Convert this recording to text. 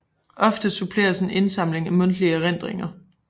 Ofte suppleres med indsamling af mundtlige erindringer